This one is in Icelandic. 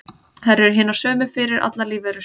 Þær eru hinar sömu fyrir allar lífverur.